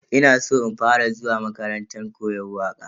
Ina san in fara zuwa makarantar koyon waka.